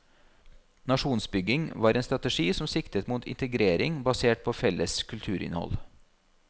Nasjonsbygging var en strategi som siktet mot integrering basert på felles kulturinnhold.